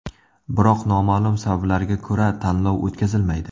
Biroq noma’lum sabablarga ko‘ra, tanlov o‘tkazilmaydi.